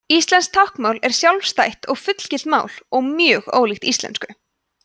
íslenskt táknmál er sjálfstætt og fullgilt mál og mjög ólíkt íslensku